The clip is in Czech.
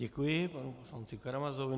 Děkuji panu poslanci Karamazovi.